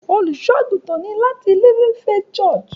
Olusoagutan ni lati "Living faith church"